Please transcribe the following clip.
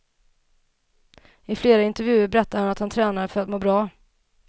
I flera intervjuer berättade han att han tränade för att må bra.